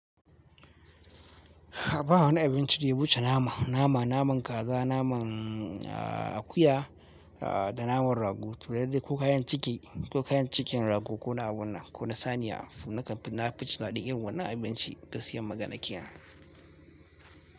Ba wani abinci da ya wuce nama, nama, naman kaza, naman akuya da naman rago to yadda ko kayan ciki, ko kayan cikin rago ko na abunnan ko na saniya. Nakan fi na fi jin daɗi yawa na abinci gaskiyan maganan kenan.